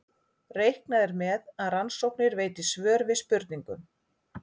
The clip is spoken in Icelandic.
Reiknað er með að rannsóknir veiti svör við spurningum.